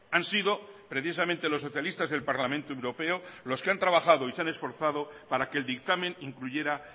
han sido precisamente los socialistas del parlamento europeo los que han trabajado y se han esforzado para que el dictamen incluyera